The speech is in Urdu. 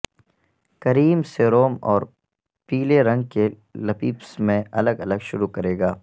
کریم سیروم اور پیلے رنگ کی لپپس میں الگ الگ شروع کرے گا